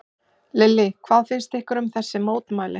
Lillý: Hvað finnst ykkur um þessi mótmæli?